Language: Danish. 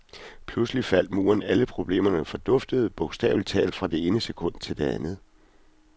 Pludselig faldt muren, alle problemerne forduftede bogstavelig talt fra det ene sekund til det andet.